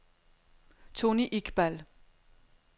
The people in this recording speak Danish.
Toni Iqbal